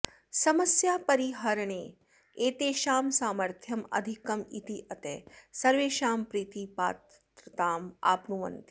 समस्यापरिहरणे एतेषां सामर्थ्यम् अधिकम् इत्यतः सर्वेषां प्रीतिपात्रताम् आप्नुवन्ति